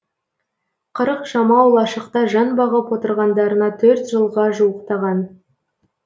қырық жамау лашықта жан бағып отырғандарына төрт жылға жуықтаған